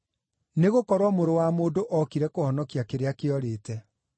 Nĩgũkorwo Mũrũ wa Mũndũ ookire kũhonokia kĩrĩa kĩorĩte.)